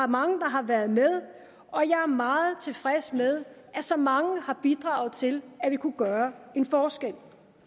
mange der har været med og jeg er meget tilfreds med at så mange har bidraget til at vi kunne gøre en forskel